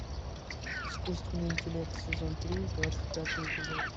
искусственный интеллект сезон три двадцать пятый эпизод